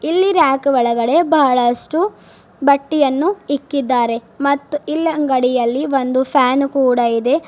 ಇಲ್ಲಿ ರ್ಯಾಕ್ ಒಳಗಡೆ ಬಹಳಷ್ಟು ಬಟ್ಟೆಯನ್ನು ಇಕ್ಕಿದ್ದಾರೆ ಮತ್ತು ಇಲ್ಲ ಅಂಗಡಿಯಲ್ಲಿ ಒಂದು ಫ್ಯಾನ್ ಕೂಡ ಇದೆ.